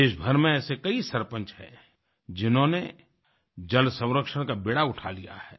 देशभर में ऐसे कई सरपंच हैं जिन्होंने जल संरक्षण का बीड़ा उठा लिया है